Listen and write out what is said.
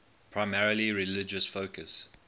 primarily religious focus